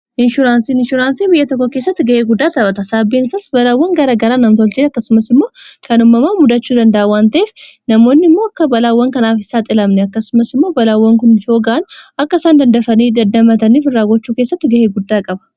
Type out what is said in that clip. Inshuraansii inshuraansii biyya tokko keessatti ga'ee guddaa taphata saabbiinsaas balaawwan gara garaa namtoolchee akkasumas immoo kan ummamaa muddachuu danda'awwan te'ef namoonni immoo akka balaawwan kanaaf isaa xilamne akkasumas immoo balaawwan kun hooga'an akka isaan dandafanii daddamataniif in raagochuu keessatti ga'ee guddaa qaba